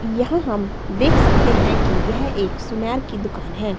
यहां हम देख सकते हैं कि यह एक सुनार की दुकान है।